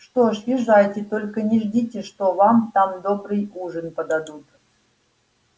что ж езжайте только не ждите что вам там добрый ужин подадут